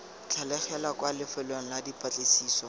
tlhagelela kwa lefelong la dipatlisiso